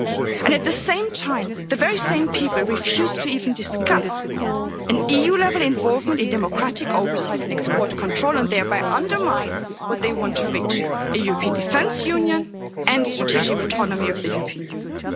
it and at the same time, the very same people refuse to even discuss an EU level involvement in democratic oversight and export control and thereby undermine what they want to reach a European defence union and strategic autonomy of the European Union.